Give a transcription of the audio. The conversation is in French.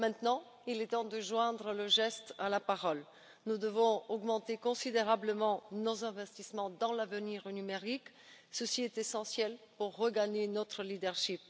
Il est maintenant temps de joindre le geste à la parole nous devons augmenter considérablement nos investissements dans l'avenir numérique, ceci est essentiel pour regagner notre leadership.